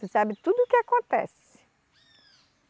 Tu sabe tudo o que acontece.